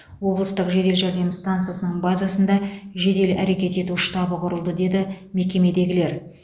облыстық жедел жәрдем стансасының базасында жедел әрекет ету штабы құрылды деді мекемедегілер